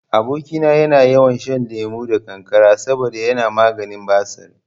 Aboki na yana yawan shan lemo da kankara saboda yana maganin basir